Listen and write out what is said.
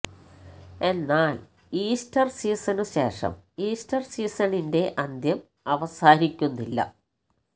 എന്നാൽ ഈസ്റ്റർ സീസണിനു ശേഷം ഈസ്റ്റർ സീസണിന്റെ അന്ത്യം അവസാനിക്കുന്നില്ല